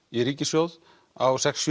í ríkissjóð á sex